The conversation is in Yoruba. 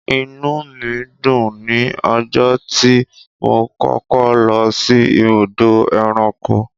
Inúù mi dùn ní ọjọ́ tí mo kọ́kọ́ lọ sí ibùdó ẹranko.